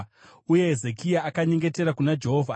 Uye Hezekia akanyengetera kuna Jehovha achiti,